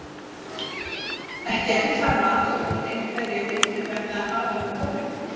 Ekki enn farinn að athuga hvort einhverja vinnu verði að hafa með honum.